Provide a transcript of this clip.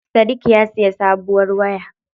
Sadik ya siya sabuwar waya.